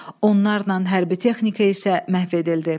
Onlarla hərbi texnika isə məhv edildi.